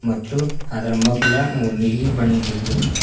ಮತ್ತು ಅದರ ಮಗ್ಲ ನೀಲಿ ಬಣ್ಣದ್ದು--